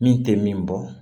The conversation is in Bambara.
Min tɛ min bɔ